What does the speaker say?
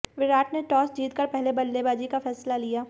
विराट ने टॉस जीत कर पहले बल्लेबाजी का फैसला लिया